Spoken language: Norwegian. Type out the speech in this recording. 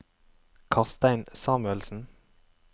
Karstein Samuelsen